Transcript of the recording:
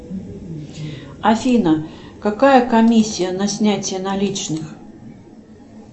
афина какая комиссия на снятие наличных